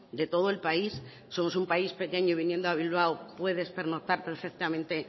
de todo el país somos un país pequeño y viniendo a bilbao puedes pernoctar perfectamente